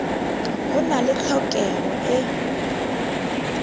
ho na le tlhokeho e